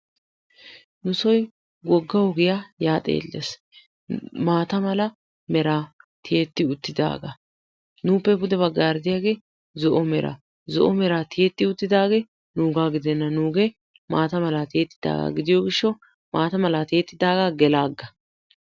Nu soy wogga ogiyaa ya xeelees. maata meraa tiyetti uttidaga. nuppe pude baggaara diyage zo'o mera. Zo'o meraa tiyetti-uttidage nuga gidena. nuugee maata mala tiyettidaga gidiyo gishawu maataa mala tiyettidaga gelaaga.